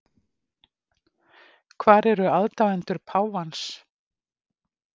Hvar eru aðdáendur páfans